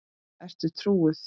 Ertu trúuð?